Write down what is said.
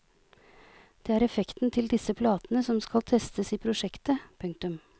Det er effekten til disse platene som skal testes i prosjektet. punktum